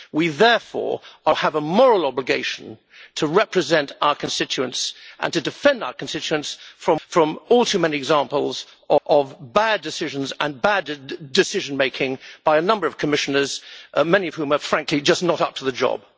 We therefore have a moral obligation to represent our constituents and to defend our constituents from all too many examples of bad decisions and bad decision making by a number of Commissioners, many of whom are frankly just not up to the job.